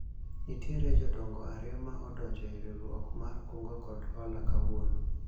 nitiere jodongo ariyo ma odonjo e riwruok mar kungo kod hola kawuono